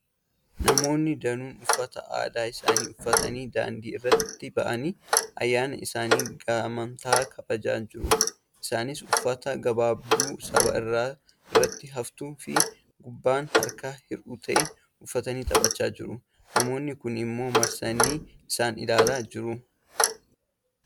Namoonni danuun uffata aadaa isaanii uffatanii daandii irratti ba'anii ayyaana isaanii gamtaan kabajaa jiru. Isaanis uffata gabaabduu sarba irratti haftuu fi gubbaan harka hir'uu ta'e uffatanii taphachaa jiru. Namoonni kuun immoo marsanii isaan ilaalaa jiru.